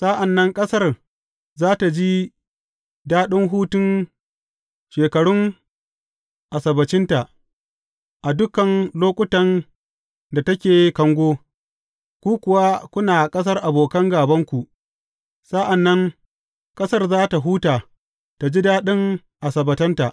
Sa’an nan ƙasar za tă ji daɗin hutun shekarun Asabbacinta, a dukan lokutan da take kango, ku kuwa kuna a ƙasar abokan gābanku, sa’an nan ƙasar za tă huta ta ji daɗin asabbatanta.